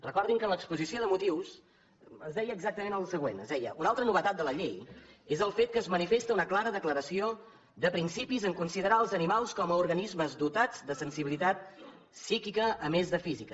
recordin que en l’exposició de motius es deia exactament el següent es deia una altra novetat de la llei és el fet que es manifesta una clara declaració de principis en considerar els animals com a organismes dotats de sensibilitat psíquica a més de física